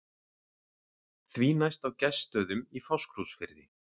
Því næst á Gestsstöðum í Fáskrúðsfirði.